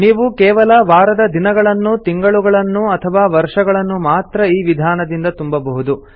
ನೀವು ಕೇವಲ ವಾರದ ದಿನಗಳನ್ನು ತಿಂಗಳುಗಳನ್ನು ಅಥವಾ ವರ್ಷಗಳನ್ನು ಮಾತ್ರ ಈ ವಿಧಾನದಿಂದ ತುಂಬಬಹುದು